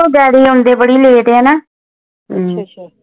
ਉਹ ਡੈਡੀ ਆਉਂਦੇ ਬੜੀ late ਨੇ ਨਾ